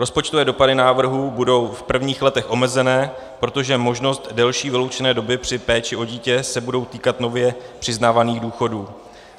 Rozpočtové dopady návrhu budou v prvních letech omezené, protože možnost delší vyloučené doby při péči o dítě se bude týkat nově přiznávaných důchodů.